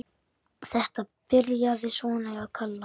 Þetta byrjaði svona hjá Kalla.